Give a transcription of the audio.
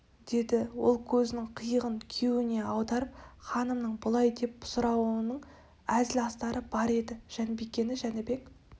деді ол көзінің қиығын күйеуіне аударып ханымның бұлай деп сұрауының әзіл астары бар еді жанбикені жәнібек